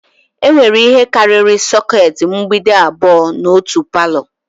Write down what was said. Enwere ihe karịrị sokèti mgbidi abụọ n'otu palọ